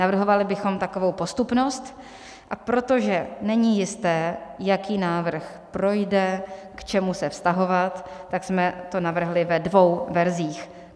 Navrhovali bychom takovou postupnost, a protože není jisté, jaký návrh projde, k čemu se vztahovat, tak jsme to navrhli ve dvou verzích.